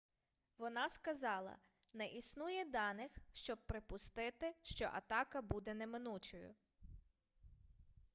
вона сказала не існує даних щоб припустити що атака буде неминучою